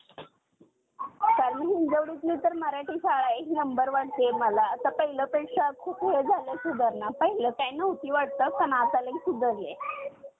आणि या सगळे अं हि सगळी कारण प्रत्यक्ष आणि अप्रत्यक्षरीत्या मानवास कारणीभूत ठरतेय ना. कारण अं आपण बघितलं तर, अं अति अं तापमान पण मानवी~ अं मानवी आरोग्यास हानिकारक आहे.